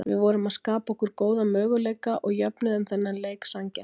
Við vorum að skapa okkur góða möguleika og jöfnuðum þennan leik sanngjarnt.